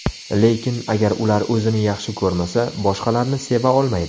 Lekin, agar ular o‘zini yaxshi ko‘rmasa, boshqalarni seva olmaydi.